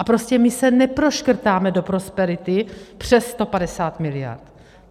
A prostě my se neproškrtáme do prosperity přes 150 mld.